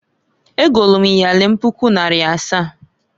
Egolu m iyeli m puku naịra asaa.